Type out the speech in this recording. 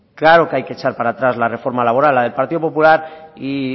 claro que hay que echar para atrás la reforma laboral la del partido popular y